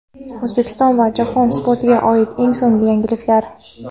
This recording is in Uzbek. O‘zbekiston va jahon sportiga oid eng so‘nggi yangiliklar.